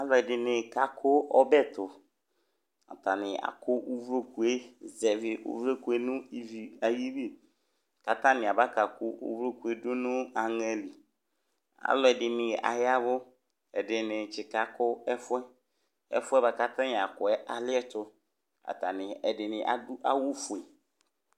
alò ɛdini ka kò ɔbɛ to atani akò uvloku yɛ zɛvi uvloku yɛ no ivi ayili k'atani aba ka kò uvloku yɛ do no aŋɛ li alò ɛdini aya vu ɛdini tsi ka kò ɛfu yɛ ɛfu yɛ boa kò atani akò yɛ aliɛto atani ɛdini adu awu fue